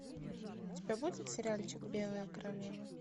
у тебя будет сериальчик белая королева